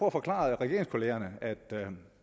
at forklare regeringskollegaerne at